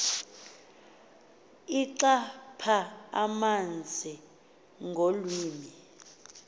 ixhapha amanzi ngolwimi